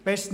Besten